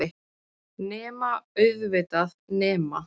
Nema, auðvitað. nema.